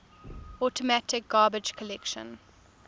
automatic garbage collection